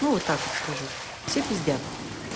ну вот так вот скажу все пиздят